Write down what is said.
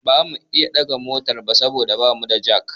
Ba mu iya ɗage motar ba saboda ba mu da jak